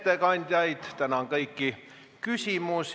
Nagu ikka, sellise arutelu lõpetamisel Riigikogu otsust vastu ei võta.